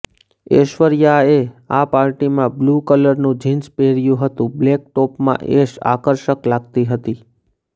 ઐશ્વર્યાએ આ પાર્ટીમાં બ્લુ કલરનું જીન્સ પહેર્યુ હતુ બ્લેક ટોપમાં એશ આકર્ષક લાગતી હતી